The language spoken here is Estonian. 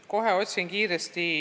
Kohe otsin kiiresti andmeid.